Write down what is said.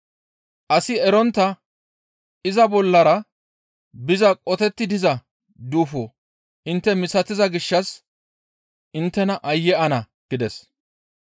Asi erontta iza bollara biza qotetti diza duufo intte misatiza gishshas inttes aayye ana!» gides.